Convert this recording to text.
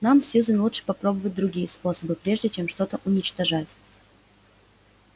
нам сьюзен лучше попробовать другие способы прежде чем что-то уничтожать